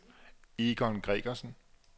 Egon Gregersen